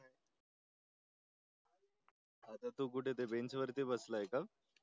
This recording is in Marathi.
तू कुठे बेंचवरती बसलाय का